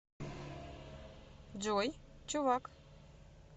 джой чувак